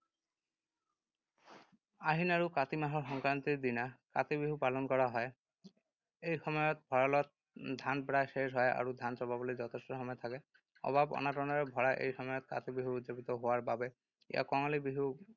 আহিন আৰু কাতি মাহৰ সংক্ৰান্তিৰ দিনা কাতি বিহু পালন কৰা হয়। এই সময়ত ভঁৰালত ধান প্ৰায় শেষ হয় আৰু ধান চপাবলৈ যথেষ্ট সময় থাকে। অভাৱ-অনাটনৰে ভৰা এই সময়ত কাতি বিহু উদযাপিত হোৱাৰ বাবে ইয়াক কঙালী বিহু